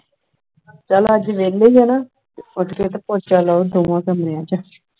ਚੱਲ ਅੱਜ ਵਿਹਲੇ ਹੀ ਹੋ ਨਾ ਉੱਠ ਕੇ ਤੇ ਪੋਚਾ ਲਾਓ ਦੋਨਾਂ ਕਮਰਿਆਂ ਚ